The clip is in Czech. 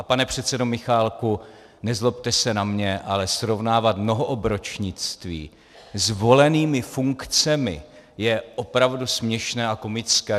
A pane předsedo Michálku, nezlobte se na mě, ale srovnávat mnohoobročnictví s volenými funkcemi, je opravdu směšné a komické.